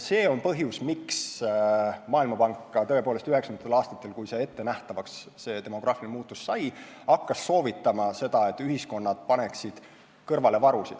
See on ka põhjus, miks Maailmapank tõepoolest hakkas 1990-ndatel, kui demograafiline muutus ettenähtavaks sai, soovitama seda, et ühiskonnad paneksid varusid kõrvale.